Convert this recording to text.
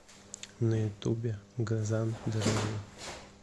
на ютубе газан дежавю